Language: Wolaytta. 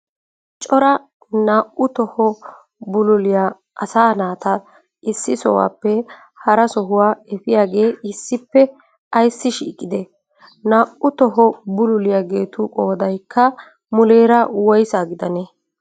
Cora na7uu toho bululliya asaa naata issi sohuwappe haraa sohuwa efiyagee issippe aysi shiiqqide? Na7uu toho bululliyageetu qoodaykka muleraa woysaa giddanne?